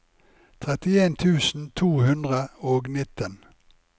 trettien tusen to hundre og nitten